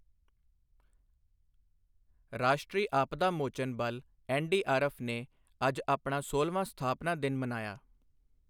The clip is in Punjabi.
ਰਾਸ਼ਟਰੀ ਆਪਦਾ ਮੋਚਨ ਬਲ ਐਨ.ਡੀ.ਆਰ.ਐਫ. ਨੇ ਅੱਜ ਆਪਣਾ ਸੋਲਵਾਂ ਸਥਾਪਨਾ ਦਿਨ ਮਨਾਇਆ।